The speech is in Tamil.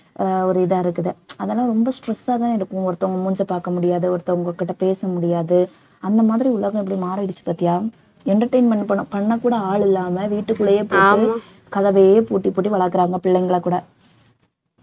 ஆஹ் ஒரு இதா இருக்குது அதெல்லாம் ரொம்ப stress ஆ தான் இருக்கும் ஒருத்தவங்க மூஞ்சியை பாக்க முடியாது ஒருத்தவங்ககிட்ட பேச முடியாது அந்த மாதிரி உலகம் எப்படி மாறிடுச்சு பார்த்தியா entertainment பண்~ பண்ண கூட ஆள் இல்லாம வீட்டுக்குள்ளேயே கதவையே பூட்டி பூட்டி வளர்க்கறாங்க பிள்ளைங்களை கூட